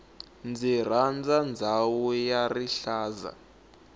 ndzi rhandza ndhawu ya rihlaza